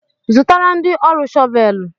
Zụtara ndị ọrụ shọvel!